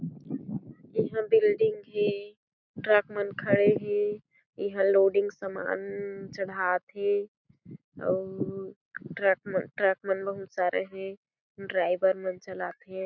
इहां बिल्डिंग हे ट्रक मन खड़े हें इहा लोडिंग सामान चढ़ात हें अउ ट्रक ट्रक मन बहुत सारे हें ड्राइवर मन चलाथे।